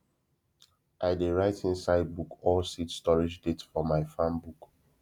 i dey write inside book all seed storage date for my farm book